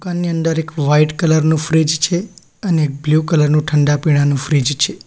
એની અંદર એક white colour નું ફ્રીજ છે અને બ્લુ કલર નું ઠંડા પીણાંનું ફ્રીજ છે.